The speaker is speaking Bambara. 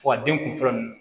Fɔ ka den kunfɔlɔ ninnu